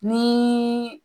Ni